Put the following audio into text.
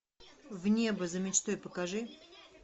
в небо за мечтой покажи